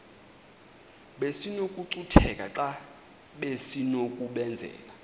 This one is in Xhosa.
besinokucutheka xa besinokubenzela